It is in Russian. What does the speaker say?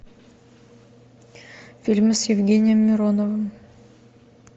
фильмы с евгением мироновым